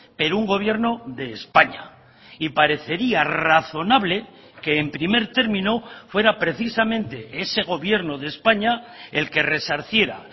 pero un gobierno de españa y parecería razonable que en primer término fuera precisamente ese gobierno de españa el que resarciera